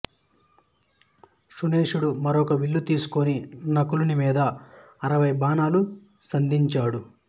సుషేణుడు మరొక విల్లు తీసుకుని నకులుని మీద అరవై బాణములు సంధించాడు